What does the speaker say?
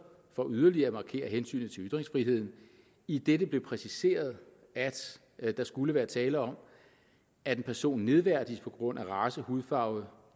for yderligere at markere hensynet til ytringsfriheden idet det blev præciseret at der skulle være tale om at en person nedværdiges på grund af race hudfarve